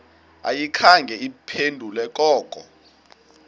ayikhange iphendule koko